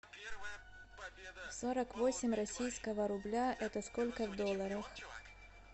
сорок восемь российского рубля это сколько в долларах